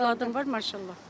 Dörd övladım var, maşallah.